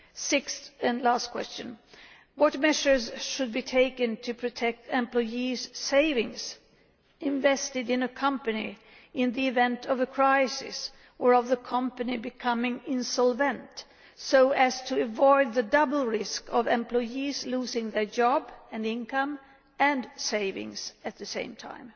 Sixth and last question what measures should be taken to protect employees' savings invested in a company, in the event of a crisis or of the company becoming insolvent, so as to avoid the double risk of employees losing their job, income and savings at the same time?